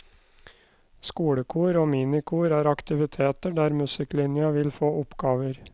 Skolekor og minikor er aktiviteter der musikklinja vil få oppgaver.